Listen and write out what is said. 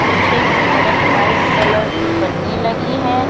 पीछे की तरफ व्हाइट कलर की पन्नी लगी है।